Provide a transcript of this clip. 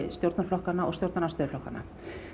stjórnarflokkanna og stjórnarandstöðuflokkanna